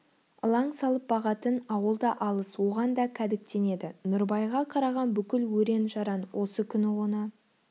ылаң салып бағатын ауыл да алыс оған да кәдіктенеді нұрыбайға қараған бүкіл өрен-жаран осы күні оны